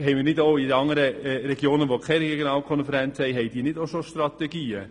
Haben nicht auch die Regionen ohne Regionalkonferenz bereits Strategien?